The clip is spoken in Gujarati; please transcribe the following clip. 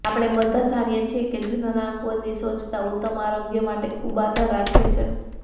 આપણે બધા જાણીએ છીએ કે જનનાંગો ની સ્વચ્છતા ઉત્તમ આરોગ્ય માટે ખુબ આધાર રાખે છે